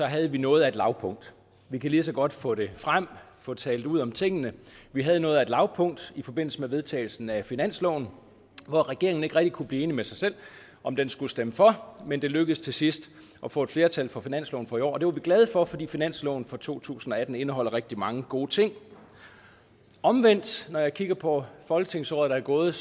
havde noget af et lavpunkt vi kan lige så godt få det frem og få talt ud om tingene vi havde noget af et lavpunkt i forbindelse med vedtagelsen af finansloven for regeringen kunne ikke rigtig blive enig med sig selv om den skulle stemme for men det lykkedes til sidst at få et flertal for finansloven for i år og det er vi glade for fordi finansloven for to tusind og atten indeholder rigtig mange gode ting omvendt når jeg kigger på folketingsåret der er gået